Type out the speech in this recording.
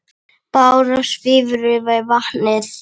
Bára svífur yfir vatnið.